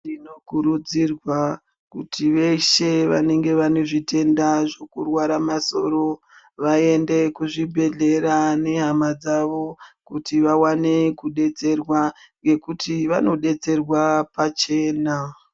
Tinokurudzirwa kuti veshe vanenge vane zvitenda zvekurwara masoro vaende kuzvibhedhlera nehama dzavo kuti vawane kudetserwa ngekuti vanodetserwa pachena.